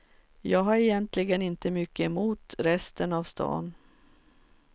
Jag har egentligen inte mycket emot resten av stan.